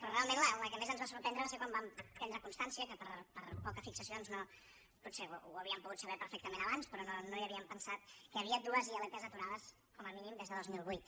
però realment la que més ens va sorprendre va ser quan vam tenir constància per poques fixacions potser ho hauríem pogut saber perfectament abans però no hi havíem pensat que hi havia dues ilp aturades com a mínim des del dos mil vuit